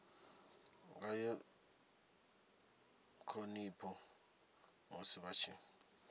ngayo ṱhonipho musi vha tshi